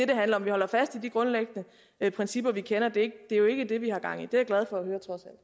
det handler om vi holder fast i de grundlæggende principper vi kender det er jo ikke det vi har gang i det er jeg glad for